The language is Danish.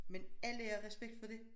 Men alle har respekt for det